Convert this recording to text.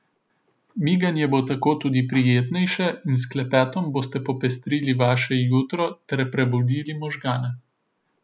Miganje bo tako tudi prijetnejše in s klepetom boste popestrili vaše jutro ter prebudili možgane.